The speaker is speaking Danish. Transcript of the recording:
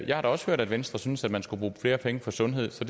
jeg har også hørt at venstre synes man skulle bruge flere penge på sundhed så